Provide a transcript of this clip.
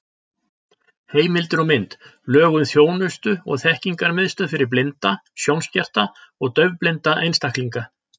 Heimildir og mynd: Lög um þjónustu- og þekkingarmiðstöð fyrir blinda, sjónskerta og daufblinda einstaklinga.